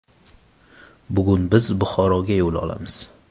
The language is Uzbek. Bugun biz Buxoroga yo‘l olamiz.